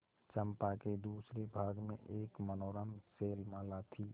चंपा के दूसरे भाग में एक मनोरम शैलमाला थी